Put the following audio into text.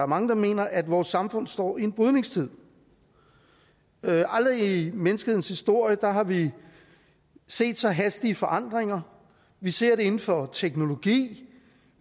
mange der mener at vores samfund står i en brydningstid aldrig i menneskehedens historie har vi set så hastige forandringer vi ser det inden for teknologi vi